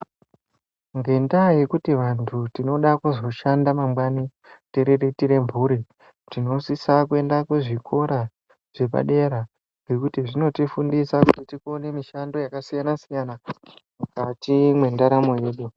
Ngendaa yekuti vantu tinoda kuzoshanda mangwani tiriritire mburi, tinosisa kuenda kuzvikora zvepadera, ngekuti zvinotifundisa kuti tikone mishando yakasiyana- sityana mukati mwendaramo yedu.